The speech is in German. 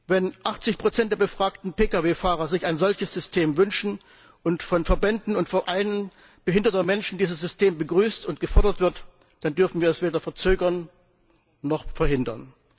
Wenn 80 der Pkw Fahrer sich ein solches System wünschen und von Verbänden und Vereinen behinderter Menschen dieses System begrüßt und gefordert wird, dann dürfen wir es weder verzögern noch verhindern!